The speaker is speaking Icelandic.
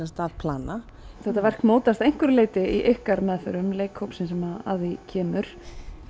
sagt að plana þetta verk mótast að einhverju leyti í ykkar meðförum leikhópsins sem að því kemur